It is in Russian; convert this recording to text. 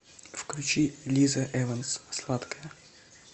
включи лиза эванс сладкая